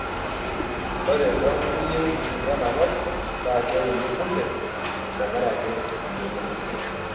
Ore too nkulie wuejiti ena kop naa keuni kunde tenkaraki imbenek.